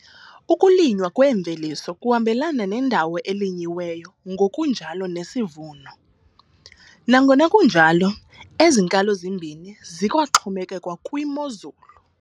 Ukulinywa kwemveliso kuhambelana nendawo elinyiweyo ngokunjalo nesivuno, nangona kunjalo, ezi nkalo zimbini zikwaxhomekeka kwimozulu.